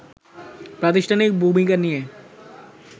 প্রাতিষ্ঠানিক ভূমিকা নিয়ে